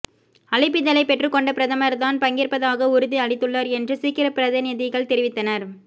அழைப்பிதழை பெற்றுக்கொண்ட பிரதமர் தான் பங்கேற்பதாக உறுதி அளித்துள்ளார் என்று சீக்கிய பிரதிநிதிகள் தெரிவித்தனர்